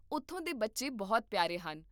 ਉਥੋਂ ਦੇ ਬੱਚੇ ਬਹੁਤ ਪਿਆਰੇ ਹਨ